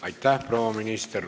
Aitäh, proua minister!